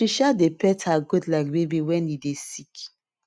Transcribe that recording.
she um dey pet her goat like baby wen e dey sick